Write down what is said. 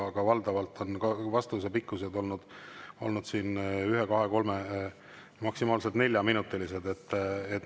Aga valdavalt on vastused olnud 1‑, 2‑, 3‑, maksimaalselt 4‑minutilised.